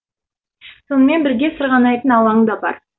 сонымен бірге сырғанайтын алаң да бар